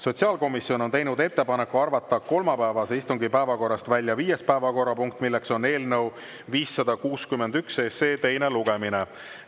Sotsiaalkomisjon on teinud ettepaneku arvata kolmapäevase istungi päevakorrast välja viies päevakorrapunkt, milleks on eelnõu 561 teine lugemine.